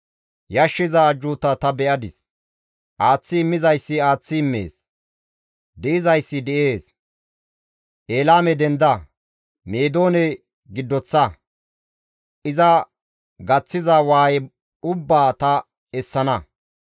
Yashshiza ajjuuta ta be7adis; aaththi immizayssi aaththi immees; di7izayssi di7ees. Elaame denda! Meedoone giddoththa! iza gaththida waaye ubbaa ta essana.